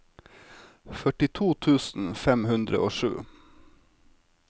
førtito tusen fem hundre og sju